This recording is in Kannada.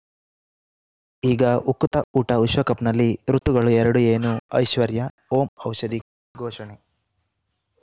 ಈಗ ಉಕುತ ಊಟ ವಿಶ್ವಕಪ್‌ನಲ್ಲಿ ಋತುಗಳು ಎರಡು ಏನು ಐಶ್ವರ್ಯಾ ಓಂ ಔಷಧಿ ಘೋಷಣೆ